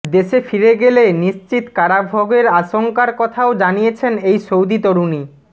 দেশে ফিরে গেলে নিশ্চিত কারাভোগের আশঙ্কার কথাও জানিয়েছেন এই সৌদি তরুণী